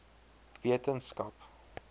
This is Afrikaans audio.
wetenskap